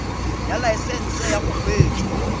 ya laesesnse ya go kgweetsa